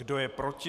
Kdo je proti?